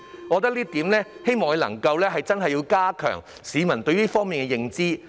我希望局長能夠加強市民對這方面的認知。